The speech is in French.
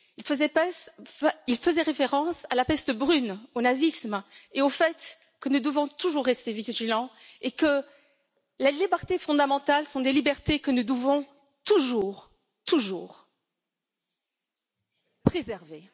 Il faisait référence à la peste brune, au nazisme, et au fait que nous devons toujours rester vigilants et que les libertés fondamentales sont des libertés que nous devons toujours, toujours, préserver.